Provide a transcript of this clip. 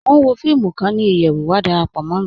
Mọ̀ n wọ fíìmù kan ni iyẹwú, wà dárápọ̀ mọ̀ mí.